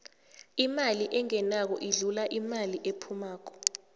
imali engenako idlula imali ephumako